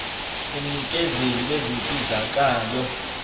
umnikezeli wezinsizaka lo